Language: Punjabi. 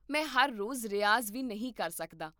ਮੈਂ ਹਰ ਰੋਜ਼ ਰਿਆਜ਼ ਵੀ ਨਹੀਂ ਕਰ ਸਕਦਾ